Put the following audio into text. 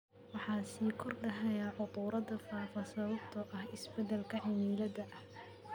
Waxaa sii kordhaya cudurrada faafa sababtoo ah isbeddelka cimilada.